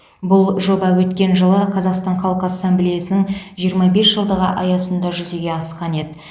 бұл жоба өткен жылы қазақстан халқы ассамблеясының жиырма бес жылдығы аясында жүзеге асқан еді